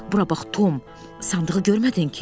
Bura bax, Tom, sandığı görmədin ki?